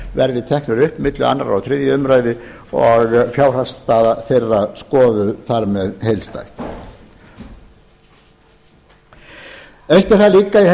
verði teknir upp milli annars og þriðju umræðu og fjárhagsstaða þeirra skoðuð þar með heildstætt eitt er það líka í þessu